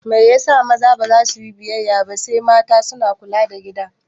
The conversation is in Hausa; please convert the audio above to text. Mai yasa maza baza suyi biyayya ba sai mata suna kula da gida?